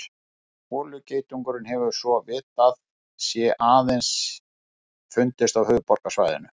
Holugeitungurinn hefur svo vitað sé aðeins fundist á höfuðborgarsvæðinu.